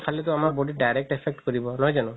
খালেতো আমাৰ body ত direct affect কৰিব